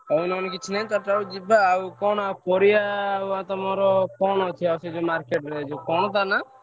ଆଉ ପରିବା ଆଉ କଣ ।